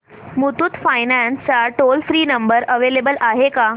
Muthoot finance चा toll free number available आहे का